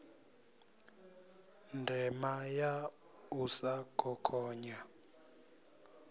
ndima ya u sa khokhonya